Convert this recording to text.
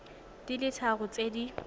di le tharo tse di